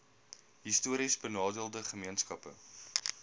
histories benadeelde gemeenskappe